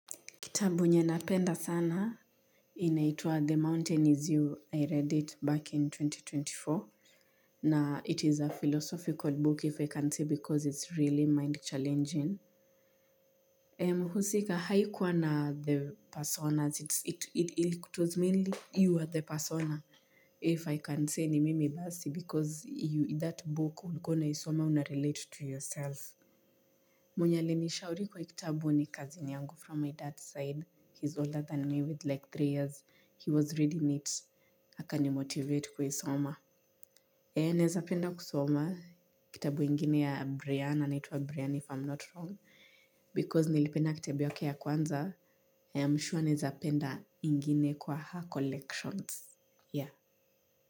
Kitabu yenye napenda sana inaitwa the mountain is you i read it back in twenty twenty four na it is a philosophical book if i can say because it's really mind challenging eh mhusika haikuwa na the personas it's it it it was mainly you are the persona if i can say ni mimi basi because you that book ulikuwa unaisoma unarelate to yourself. Mwenye alinishauri kwa kitabu ni cousin yangu from my dad's side, he's older than me with like three years, he was reading it, akanimotivate kuisoma. Eh, naezapenda kusoma, kitabu ingine ya Brianna, anaitwa Brianna if I'm not wrong, because nilipenda kitabu yake ya kwanza, I am sure naezapenda ingine kwa her collections, yeah.